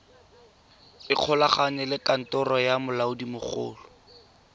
ikgolaganye le kantoro ya molaodimogolo